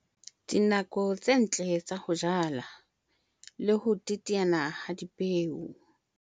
Dinako tse ntle tsa ho jala le ho teteana ha dipeo